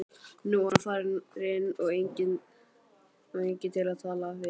Nú var hann farinn og enginn til að tala við.